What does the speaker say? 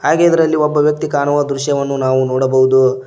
ಹಾಗೆ ಇದರಲ್ಲಿ ಒಬ್ಬ ವ್ಯಕ್ತಿ ಕಾಣುವ ದೃಶ್ಯವನ್ನು ನಾವು ನೋಡಬಹುದು.